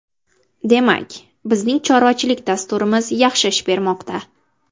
Demak, bizning chorvachilik dasturimiz yaxshi ish bermoqda.